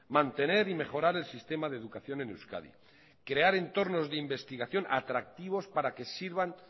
mantener y mejorar el sistema de educación en euskadi crear entornos de investigación atractivos para que sirvan